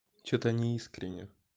что-то не искренне